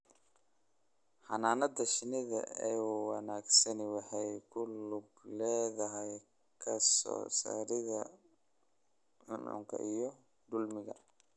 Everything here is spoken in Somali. Xannaanada shinnida ee wanaagsani waxay ku lug leedahay ka saarida cuncunka iyo dulinnada.